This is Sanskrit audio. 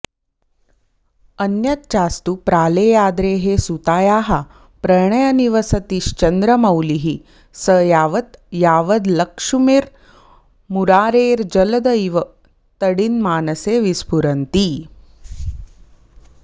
अन्यच्चास्तु प्रालेयाद्रेः सुतायाः प्रणयनिवसतिश्चन्द्रमौलिः स यावद् यावल्लक्ष्मीर्मुरारेर्जलद इव तडिन्मानसे विस्फुरन्ती